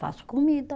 Faço comida.